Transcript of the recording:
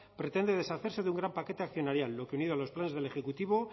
pretende deshacerse de un gran paquete accionarial lo que unido a los planes del ejecutivo